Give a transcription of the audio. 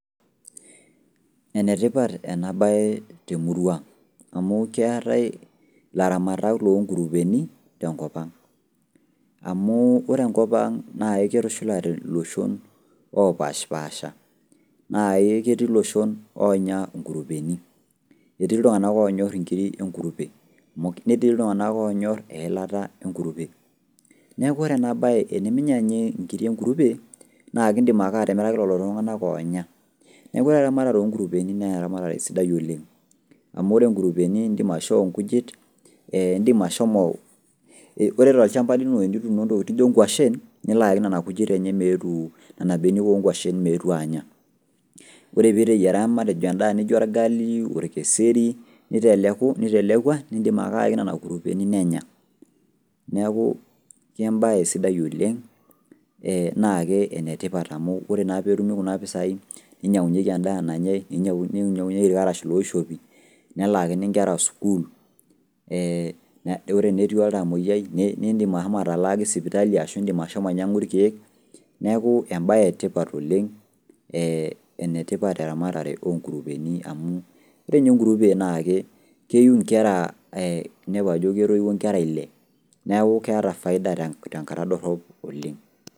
Enetipat ena baye temurua ang' amuu keetai ilaramatak loonkurupeni tenkopang'. Amuu ore enkopang' naa aiketushulate loshon oopashpaasha naa aiketii loshon oonya nkurupeni. Etii iltung'ana oonyorr inkiri enkurupe. Netii iltung'ana loonyorr eilata enkurupe. Neaku ore enabaye eniminyanyee nkiri enkurupe, naa kindim ake atimiraki lolo tung'anak oonya neaku ore eramatare onkurupeni neeramatare sidai oleng' amu ore nkurupeni indim aishoo nkujit eeh indim ashomo, ore tolchamba lino enituuno ntokitin nijo nkuashin niloaaki nena kujit enche meetuu nena benek oonkuashin meetu aanya. Ore piiteyiera endaa matejo nijo orgalii, olkeseri, nitelekua nindim ake aaki nena kurupeni nenya. Neaku kembaye sidai oleng' ee nake enetipat amu ore naa peetumi kuna pisai ninyang'unyeki endaa nanyai ninyang'unyeki ilkarash looishopi nelaakini nkera school ee ore enetii oltamoyai nindim ashomo atalaaki  sipitali ashu indim ashomo ainyang'u ilkeek neaku embaye etipat oleng' ee enetipat eramatare onkurupeni amu ore ninye enkurupe naake keiu inkera ee ninepu ajo ketoiuo inkera ille neaku keata faida tenkata dorrop oleng'.